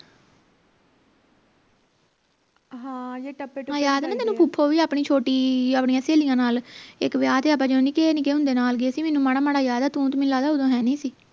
ਹਾਂ ਯਾਦ ਹੈ ਨਾ ਤੈਨੂੰ ਫੂਫੋ ਵੀ ਆਪਣੀ ਛੋਟੀ ਆਪਣੀਆਂ ਸਹੇਲੀਆਂ ਨਾਲ ਇਕ ਵਿਆਹ ਤੇ ਆਪਾਂ ਜਦੋਂ ਨਿੱਕੇ ਨਿੱਕੇ ਹੁੰਦੇ ਨਾਲ ਗਏ ਸੀ ਮੈਨੂੰ ਮਾੜਾ ਮਾੜਾ ਯਾਦ ਹੈ ਤੂੰ ਤੇ ਮੈਨੂੰ ਲਗਦੇ ਉਦੋਂ ਹੈ ਨਹੀਂ ਸੀ